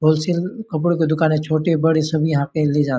wholesale कपड़ो के दुकान है छोटे बड़े सभी यहाँ आते है ले जाते --